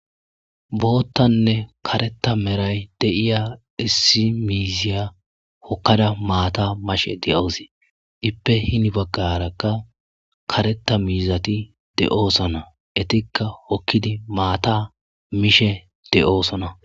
boottanne kareta meray de'iya issi miiziya hokkada maata mashe de'awusi ippe hini baggarakka kareta miizati de'oosona etikka hokkidi maata mishe de'oosona